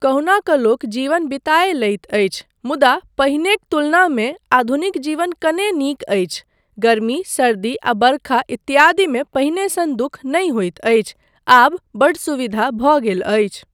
कहुना कऽ लोक जीवन बिताए लैत अछि मुदा पहिनेक तुलनामे आधुनिक जीवन कने नीक अछि, गर्मी, सर्दी आ बरखा इत्यादिमे पहिने सन दुःख नहि होइत अछि, आब बड्ड सुविधा भऽ गेल अछि।